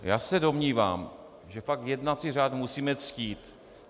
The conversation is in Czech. Já se domnívám, že fakt jednací řád musíme ctít.